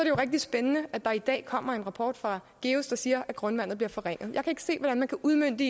jo rigtig spændende at der i dag kommer en rapport fra geus der siger at grundvandet bliver forringet jeg ikke se hvordan man kan udmønte